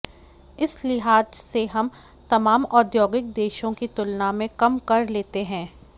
इस लिहाज से हम तमाम औद्योगिक देशों की तुलना में कम कर लेते हैं